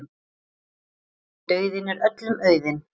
Dauðinn er öllum auðinn.